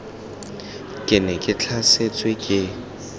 ke ne ke tlhasetswe ke